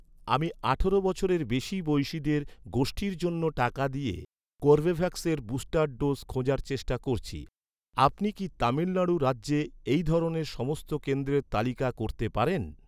আমি আঠারো বছরের বেশি বয়সিদের গোষ্ঠীর জন্য টাকা দিয়ে কর্বেভ্যাক্সের বুস্টার ডোজ খোঁজার চেষ্টা করছি। আপনি কি তামিল নাড়ু রাজ্যে এই ধরনের সমস্ত কেন্দ্রের তালিকা করতে পারেন?